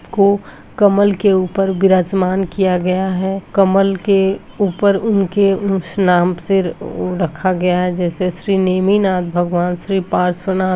को कमल के ऊपर विराजमान किया गया है कमल के ऊपर उनके उस नाम से रखा गया हैं जैसे श्री नेमिनाथ भगवान श्री पार्श्वनाथ --